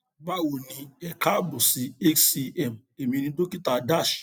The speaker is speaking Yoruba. báwo ni e káàbọ sí hcm èmi ni dókítà das